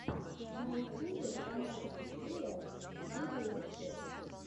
на ютубе канальчик фила видеорецепт